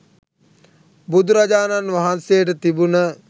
බුදුරජාණන් වහන්සේට තිබුණ